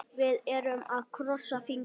Við erum að krossa fingur.